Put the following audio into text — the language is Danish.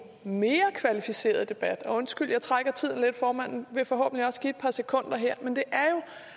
mere kvalificeret debat undskyld jeg trækker tiden lidt formanden vil forhåbentlig også give et par sekunder her men det er